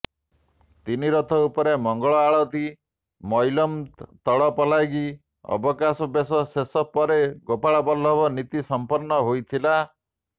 ତିନି ରଥ ଉପରେ ମଙ୍ଗଳଆଳତି ମଇଲମ ତଡ଼ପଲାଗି ଅବକାଶ ବେଶ ଶେଷ ପରେ ଗୋପାଳବଲ୍ଲଭ ନୀତି ସଂପନ୍ନ ହୋଇଥିଲା